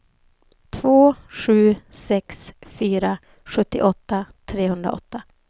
två sju sex fyra sjuttioåtta trehundraåtta